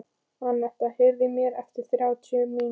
Annetta, heyrðu í mér eftir þrjár mínútur.